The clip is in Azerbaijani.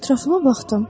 Ətrafıma baxdım.